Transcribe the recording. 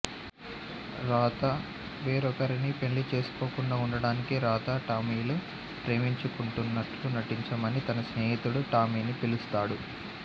రాధ వేరొకరిని పెళ్ళి చేసుకోకుండా ఉండటానికి రాధా టామీలు ప్రేమించుకుంటున్నట్లు నటించమని తన స్నేహితుడూ టామీని పిలుస్తాడు